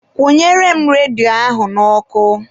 Kwụnyere m redio ahụ n'ọkụ.